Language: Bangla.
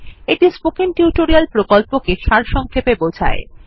এটি স্পোকেন টিউটোরিয়াল প্রকল্পটি সারসংক্ষেপে বোঝায়